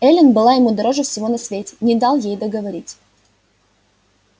эллин была ему дороже всего на свете не дал ей договорить